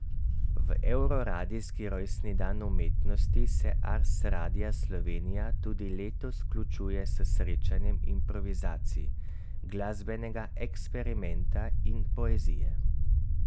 V evroradijski Rojstni dan umetnosti se Ars Radia Slovenija tudi letos vključuje s srečanjem improvizacij, glasbenega eksperimenta in poezije.